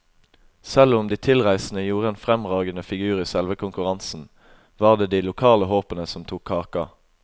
Selv om de tilreisende gjorde en fremragende figur i selve konkurransen, var det de lokale håpene som tok kaka.